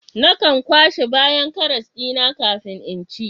Nakan kwashe bayan karas dina kafin in ci